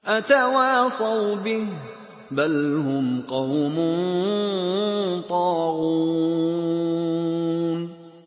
أَتَوَاصَوْا بِهِ ۚ بَلْ هُمْ قَوْمٌ طَاغُونَ